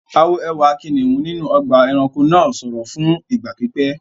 A wo ẹwà kìnìún inú ọgbà-ẹranko náà sọ̀rọ̀ fún ìgbà pípẹ́.